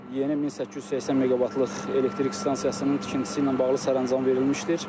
Yeni 1880 meqavatlıq elektrik stansiyasının tikintisi ilə bağlı sərəncam verilmişdir.